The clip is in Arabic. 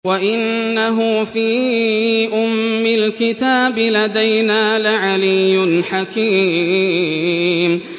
وَإِنَّهُ فِي أُمِّ الْكِتَابِ لَدَيْنَا لَعَلِيٌّ حَكِيمٌ